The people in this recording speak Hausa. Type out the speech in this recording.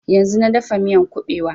Yanzun na dafa miyan ƙubewa